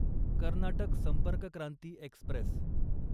Karnataka Sampark Kranti Express